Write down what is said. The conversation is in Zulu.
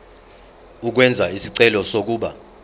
ukwenza isicelo sokuba